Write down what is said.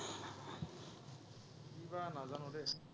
কিবা নাজানো দেই।